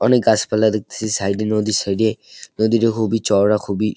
অনেক গাছ পালা দেখতেছি সাইড -এ নদীর সাইড -এ। নদীটা খুবই চওড়া খুবই--